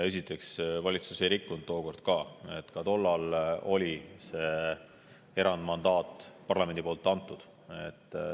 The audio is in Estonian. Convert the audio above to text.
Esiteks, valitsus ei rikkunud ka tookord, ka tollal oli see erandmandaat parlamendi antud.